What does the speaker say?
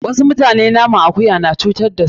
Wasu mutane naman akuya na cutar da su.